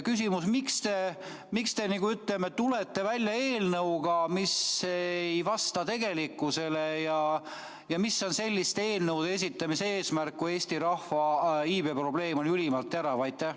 Küsimus: miks te tulete välja eelnõuga, mis ei vasta tegelikkusele, ja mis on selliste eelnõude esitamise eesmärk, kui Eesti rahva iibe probleem on ülimalt terav?